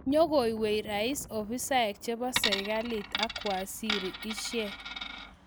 Nyekoweeei rais afisaek chepo serikalit ak waziri ishek